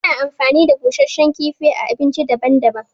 Ana amfani da busashen kifi a abinci daban daban